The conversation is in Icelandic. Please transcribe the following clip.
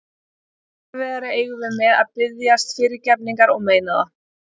Enn erfiðara eigum við með að biðjast fyrirgefningar og meina það.